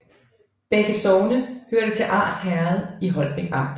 Begge sogne hørte til Ars Herred i Holbæk Amt